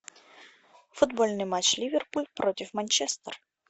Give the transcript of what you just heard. футбольный матч ливерпуль против манчестер